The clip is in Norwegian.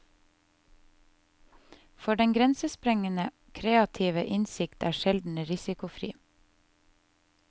For den grensesprengende, kreative innsikt er sjelden risikofri.